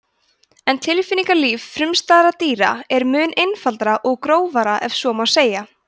en tilfinningalíf frumstæðra dýra er mun einfaldara og grófara ef svo má segja